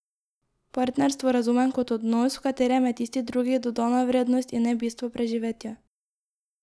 Partnerstvo razumem kot odnos, v katerem je tisti drugi dodana vrednost, in ne bistvo preživetja.